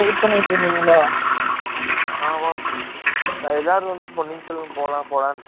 ஆமா! எல்லாரும் அதுக்காக தான் wait பன்னிட்டு இருகாங்க நான் salary காக wait பன்னிட்டு இருகேன்